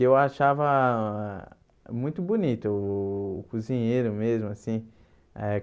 Eu achava muito bonito o o cozinheiro mesmo assim eh.